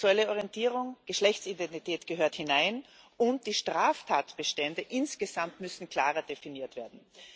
Sexuelle Orientierung, Geschlechtsidentität gehören hinein, und die Straftatbestände insgesamt müssen klarer definiert werden.